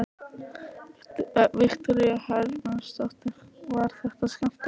Viktoría Hermannsdóttir: Var þetta skemmtilegt?